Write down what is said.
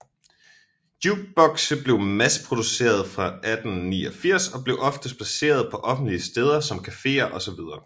Jukebokse blev masseproducerede fra 1889 og blev oftest placeret på offentlige steder som caféer osv